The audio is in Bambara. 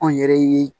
Anw yɛrɛ ye